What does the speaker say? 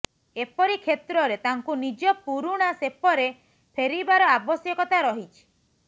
ଏପରି କ୍ଷେତ୍ରରେ ତାଙ୍କୁ ନିଜ ପୁରୁଣା ସେପରେ ଫେରିବାର ଆବଶ୍ୟକତା ରହିଛି